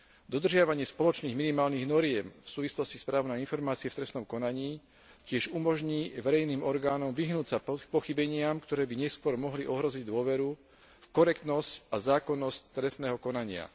Dodržiavanie spoločných minimálnych noriem v súvislosti s právom na informácie v trestnom konaní tiež umožní verejným orgánom vyhnúť sa pochybeniam, ktoré by neskôr mohli ohroziť dôveru, korektnosť a zákonnosť trestného konania.